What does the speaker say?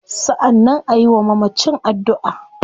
Sannan ayi wa mamacin addua